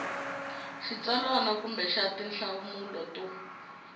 xitsalwana kumbe xa tinhlamulo to